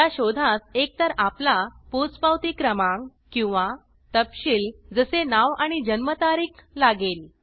या शोधास एकतर आपला पोचपावती क्रमांक किंवा तपशील जसे नाव आणि जन्मतारीख लागेल